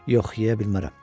Yox, yeyə bilmərəm.